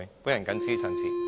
我謹此陳辭。